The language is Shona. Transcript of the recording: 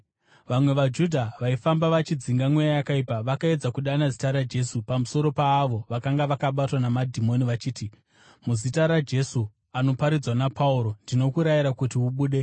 Vamwe vaJudha vaifamba vachidzinga mweya yakaipa vakaedza kudana zita raJesu pamusoro paavo vakanga vakabatwa namadhimoni vachiti, “Muzita raJesu, anoparidzwa naPauro, ndinokurayira kuti ubude.”